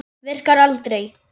Virkar aldrei.